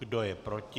Kdo je proti?